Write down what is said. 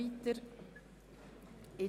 Auf die Massnahme ist zu verzichten.